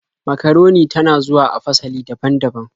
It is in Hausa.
Makaroni ta na zuwa a fasali daban-daban.